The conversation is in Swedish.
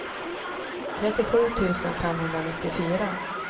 trettiosju tusen femhundranittiofyra